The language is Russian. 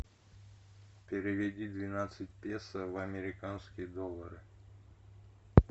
переведи двенадцать песо в американские доллары